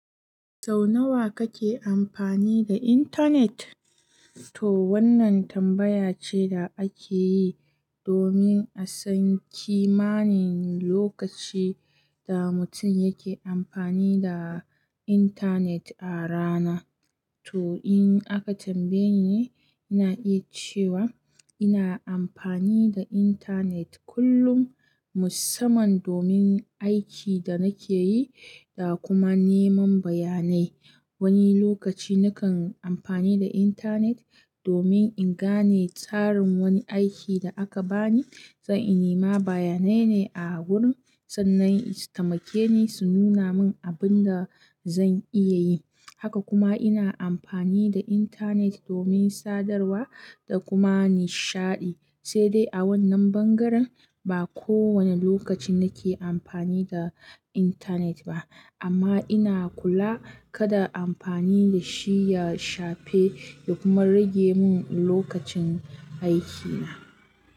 Sau nawa kake amfani da intanet? To wannan tambaya ce da ake yi domin a san kimanin lokacin da mutum yake amfani da intanet a rana. To in aka tambaye ni, ina iya cewa ina amfani da intanet kullum musamman domin aikin da nake yi da kuma neman bayanai. Wani lokaci nakan amfani da intanet domin in gane tsarin wani aikin da aka bani, zan yi nema bayanai ne a wurin, sannan su taimake ni su nuna mun abin da zan iya yi. Haka kuma ina amfani da intanet domin sadarwa da kuma nishaɗi, sai dai a wannan bangaren ba kowane lokaci nake amfani da intanet ba. Amma ina kula kada amfani da shi ya shafe ya kuma rage mun lokacin aikina.